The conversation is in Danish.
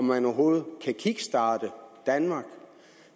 man overhovedet kan kickstarte danmark